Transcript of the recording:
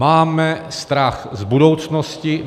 Máme strach z budoucnosti.